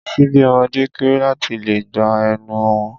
Ṣíbí ọmọde kéré láti lè gba ẹnu wọn.